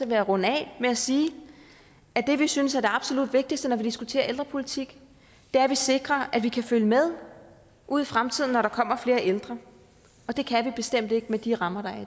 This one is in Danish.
jeg runde af med at sige at det vi synes er det absolut vigtigste når vi diskuterer ældrepolitik er at vi sikrer at vi kan følge med ude i fremtiden når der kommer flere ældre og det kan vi bestemt ikke med de rammer